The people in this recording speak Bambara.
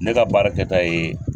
Ne ka baarakɛta ye